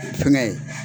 Fɛnkɛ